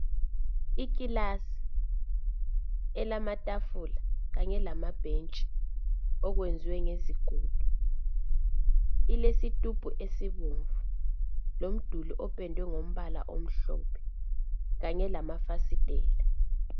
Ikilasi elamatafula kanye lamabhentshi okwenziwa ngezigodo ilesitubhu esibomvu lomduli opendwe ngombala omhlophe kanye lamafasitela.